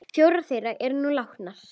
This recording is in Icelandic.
Fjórar þeirra eru nú látnar.